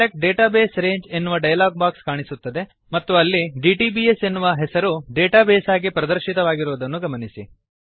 select database range ಎನ್ನುವ dialog box ಕಾಣಿಸುತ್ತದೆ ಮತ್ತು ಅಲ್ಲಿ ಡಿಟಿಬಿಎಸ್ ಎನ್ನುವ ಹೆಸರು ಡೇಟಾ ಬೇಸ್ ಆಗಿ ಪ್ರದರ್ಶಿತವಾಗಿರುವುದನ್ನು ಗಮನಿಸಿ